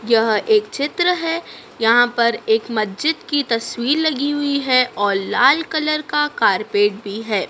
यह एक चित्र है यहाँ पर एक मस्जिद की तस्वीर लगी हुई है और लाल कलर का कारपेट भी है।